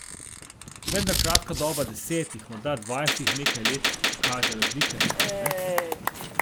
Vendar kratka doba desetih, morda dvajsetih in nekaj let kaže razlike, mar ne?